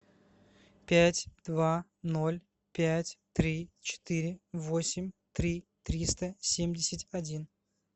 пять два ноль пять три четыре восемь три триста семьдесят один